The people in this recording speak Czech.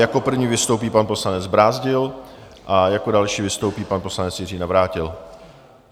Jako první vystoupí pan poslanec Brázdil a jako další vystoupí pan poslanec Jiří Navrátil.